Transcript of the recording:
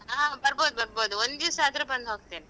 ಹಾ ಬರ್ಬೋದು ಬರ್ಬೋದು ಒಂದಿವ್ಸ ಆದ್ರೂ ಬಂದು ಹೋಗ್ತೇನೆ.